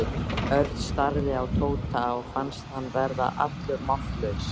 Örn starði á Tóta og fannst hann verða allur máttlaus.